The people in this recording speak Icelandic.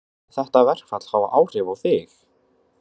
Mun þetta verkfall hafa áhrif á þig?